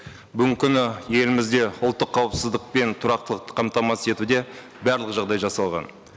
бүгінгі күні елімізде ұлттық қауіпсіздік пен тұрақтылықты қамтамасыз етуде барлық жағдай жасалған